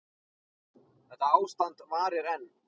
Þetta ástand varir enn.